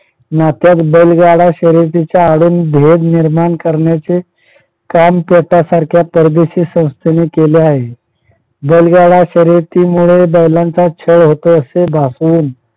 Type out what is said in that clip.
नात्यात बैलगाडा शर्यतीचा आडून भेद निर्माण करण्याचे काम काम सारख्या परदेशी संस्थेने केले आहे. बैलगाडा शर्यती मुळे बैलांचा छळ होतो असे भासून